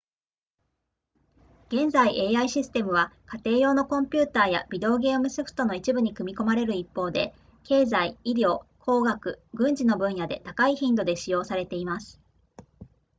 現在 ai システムは家庭用のコンピュータやビデオゲームソフトの一部に組み込まれる一方で経済医療工学軍事の分野で高い頻度で使用されています